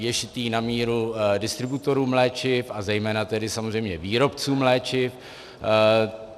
Je šitý na míru distributorům léčiv a zejména tedy samozřejmě výrobcům léčiv.